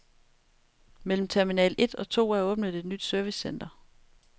Mellem terminal et og to er åbnet et nyt servicecenter.